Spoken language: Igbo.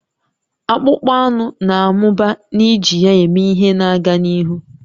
Akpụkpọ anụ na-amụba n'iji ya eme ihe na-aga n'ihu